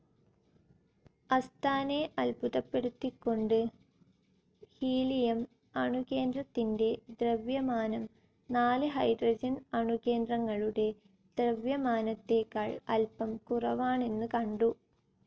അസ്താനെ അത്ഭുതപ്പെടുത്തിക്കൊണ്ട് ഹീലിയം അണുകേന്ദ്രത്തിൻ്റെ ദ്രവ്യമാനം നാല് ഹൈഡ്രോജൻ അണുകേന്ദ്രങ്ങളുടെ ദ്രവ്യമാനത്തേക്കാൾ അൽപ്പം കുറവാണെന്ന് കണ്ടു.